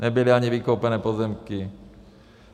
Nebyly ani vykoupené pozemky.